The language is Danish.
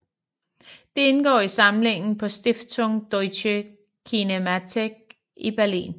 Det indgår i samlingen på Stiftung Deutsche Kinemathek i Berlin